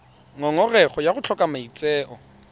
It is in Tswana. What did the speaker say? ngongorego ya go tlhoka maitseo